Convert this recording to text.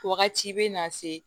Wagati bɛ na se